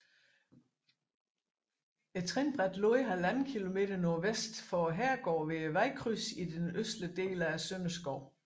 Trinbrættet lå 1½ km nordvest for herregården ved vejkrydset i den østlige ende af Sønderskov